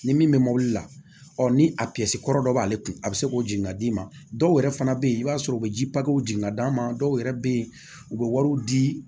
Ni min bɛ mobili la ɔ ni a kɔrɔ dɔ b'ale kun a bɛ se k'o jigin ka d'i ma dɔw yɛrɛ fana bɛ yen i b'a sɔrɔ u bɛ ji papiyew jigin ka d'a ma dɔw yɛrɛ bɛ yen u bɛ wariw di